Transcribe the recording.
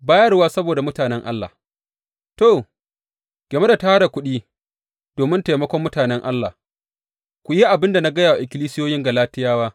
Bayarwa saboda mutanen Allah To, game da tara kuɗi domin taimakon mutanen Allah, ku yi abin da na gaya wa ikkilisiyoyin Galatiyawa.